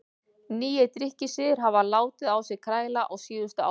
Nýir drykkjusiðir hafa látið á sér kræla á síðustu árum.